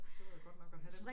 Det var da godt nok at have dem